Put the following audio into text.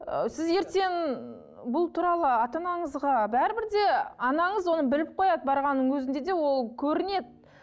ы сіз ертең бұл туралы ата анаңызға бәрібір де анаңыз оны біліп қояды барғанның өзінде де ол көрінеді